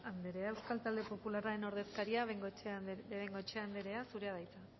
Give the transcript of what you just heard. anderea euskal talde popularraren ordezkaria de bengoechea anderea zurea da hitza